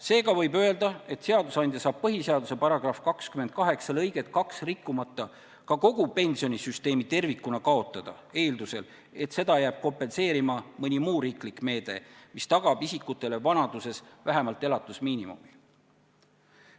Seega võib öelda, et seadusandja saab põhiseaduse § 28 lõiget 2 rikkumata ka kogu pensionisüsteemi tervikuna kaotada eeldusel, et seda jääb kompenseerima mõni muu riiklik meede, mis tagab isikutele vanaduses vähemalt elatusmiinimumi.